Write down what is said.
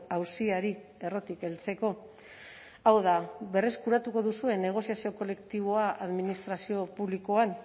auziari errotik heltzeko hau da berreskuratuko duzue negoziazio kolektiboa administrazio publikoan